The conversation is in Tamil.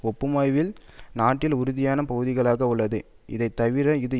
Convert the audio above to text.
ஒப்புமையில் நாட்டில் உறுதியான பகுதிகளாக உள்ளது இதைத்தவிர இது